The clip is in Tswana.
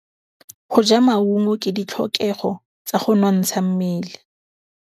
Go ja maungo ke ditlhokegô tsa go nontsha mmele.